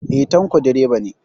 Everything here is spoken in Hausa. Eh, Tanko direba ne